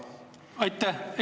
Aitäh!